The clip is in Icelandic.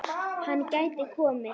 Hann gæti komið